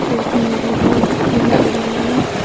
sot mu doi di eya ekkan agey.